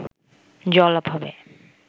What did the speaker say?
জল অভাবে